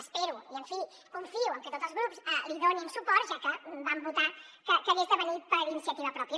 espero i en fi confio en que tots els grups hi donin suport ja que vam votar que hagués de venir per iniciativa pròpia